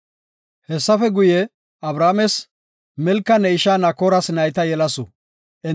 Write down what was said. Hessafe guye, Abrahaamey ba aylletako guye simmin, enti ubbay issife Barsaabe dendidi bidosona. Abrahaamey Barsaaben de7is.